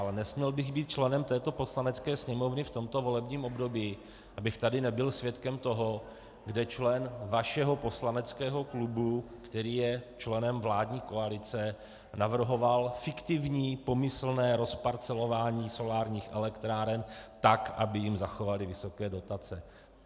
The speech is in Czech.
Ale nesměl bych být členem této Poslanecké sněmovny v tomto volebním období, abych tady nebyl svědkem toho, kdy člen vašeho poslaneckého klubu, který je členem vládní koalice, navrhoval fiktivní pomyslné rozparcelování solárních elektráren tak, aby jim zachovali vysoké dotace.